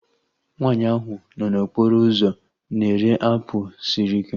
Nwaanyi ahu nọ n'okporo ụzọ na-ere apụl sịrị ike